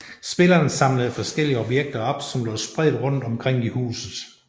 Spilleren samlede forskellige objekter op som lå spredt rundt omkring i huset